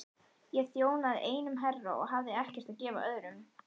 Ég þjónaði einum herra og hafði ekkert að gefa öðrum.